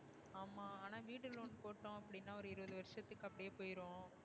ஆனா வீடு loan போட்டோம் அப்டினா ஒரு இருபது வருசத்துக்கு அப்டியே போய்டும்.